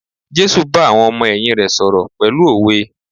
Jésù bá àwọn ọmọ ẹ̀yìn rè sọ̀rọ̀ pẹ̀lú òwe.